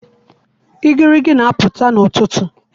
igirigi na-apụta n'ụtụtụ.